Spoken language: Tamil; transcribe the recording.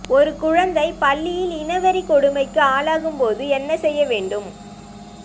ஒரு குழந்தை பள்ளியில் இனவெறி கொடுமைக்கு ஆளாகும்போது என்ன செய்ய வேண்டும்